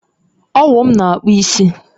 Owụ m na akpụ isi